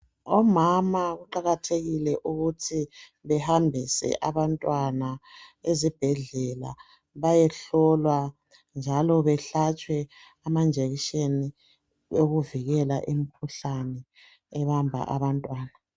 Omama kuqakathekile ukuthi behambise abantwana ezibhedlela bayehlolwa njalo behlatshwe ama injection okuvikela imikhuhlane ebamba abantwana.